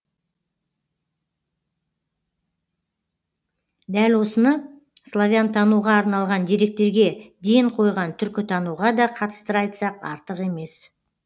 дәл осыны славянтануға арналған деректерге ден қойған түркітануға да қатыстыра айтсақ артық емес